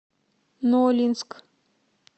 нолинск